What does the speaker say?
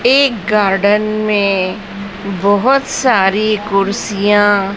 एक गार्डन में बहोत सारी कुर्सियां--